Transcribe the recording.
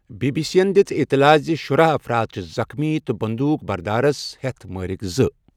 B B C یَن دِژ اطلاع زِ شُراہ افراد چھِ زخمی، تہٕ بندوٗق بردارَس ہٮ۪تھ مٲرِکھ زٕ۔